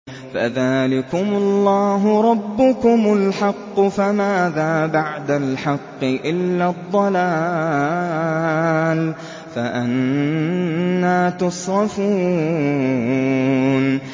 فَذَٰلِكُمُ اللَّهُ رَبُّكُمُ الْحَقُّ ۖ فَمَاذَا بَعْدَ الْحَقِّ إِلَّا الضَّلَالُ ۖ فَأَنَّىٰ تُصْرَفُونَ